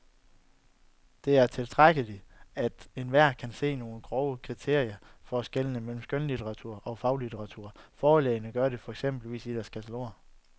Det er tilstrækkeligt at enhver kan se nogle grove kriterier for skellet mellem skønlitteratur og faglitteratur, forlagene gør det jo eksempelvis i deres kataloger.